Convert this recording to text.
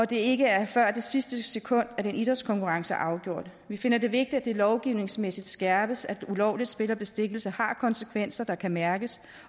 det ikke er før det sidste sekund at en idrætskonkurrence er afgjort vi finder det vigtigt at det lovgivningsmæssigt skærpes at ulovligt spil og bestikkelse har konsekvenser der kan mærkes